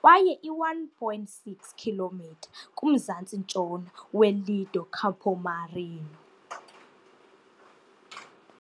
kwaye i-1.6 km kumzantsi-ntshona weLido Campomarino.